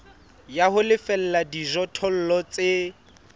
ya ho lefella dijothollo tse